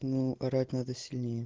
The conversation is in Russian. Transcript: ну орать надо сильнее